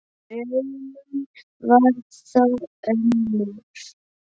Raunin varð þó önnur.